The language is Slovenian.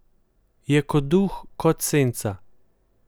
Je kot duh, kot senca.